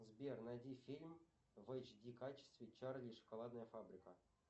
сбер найди фильм в эйч ди качестве чарли и шоколадная фабрика